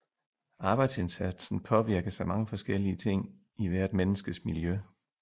Arbejdsindsatsen påvirkes af mange forskellige ting i hvert menneskes miljø